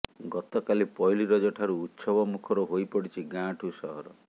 ଗତକାଲି ପହିଲି ରଜ ଠାରୁ ଉତ୍ସବ ମୁଖର ହୋଇପଡିଛି ଗାଁଠୁ ସହର